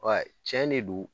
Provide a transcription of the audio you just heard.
Wai cɛn de do